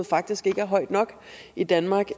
faktisk ikke er højt nok i danmark